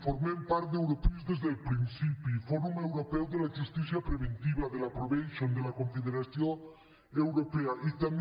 formem part d’europris des del principi del fòrum europeu de la justícia restaurativa de la confederació europea de la probation